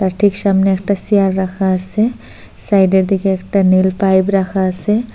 আর ঠিক সামনে একটা সেয়ার রাখা আসে সাইডের দিকে একটা নীল পাইপ রাখা আসে।